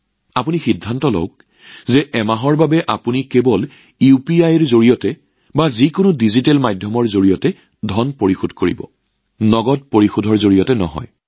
নিজেই সিদ্ধান্ত লওক যে এমাহৰ বাবে আপোনালোকে কেৱল ইউপিআই বা যিকোনো ডিজিটেল মাধ্যমৰ জৰিয়তেহে ধন পৰিশোধ কৰিব আৰু নগদ ধনৰ জৰিয়তে নহয়